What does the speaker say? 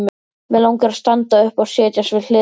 Mig langar að standa upp og setjast við hlið þína.